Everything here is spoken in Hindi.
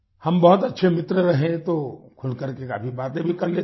हम बहुत अच्छे मित्र रहे तो खुलकर के काफी बातें भी कर लेते हैं